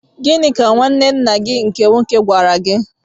Gịnị ka nwaanne ńnà ụnụ nke nwoke gwara gị?